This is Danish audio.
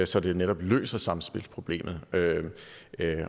så det netop løser samspilsproblemet